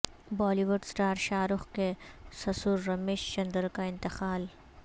Bali would star Shah Rukh کے سسر رمیش چندر کا انتقال